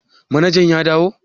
Manajan ya dawo?